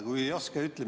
Kui ei oska, siis ütle.